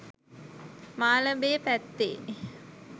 මාලඹේ පැත්තේ.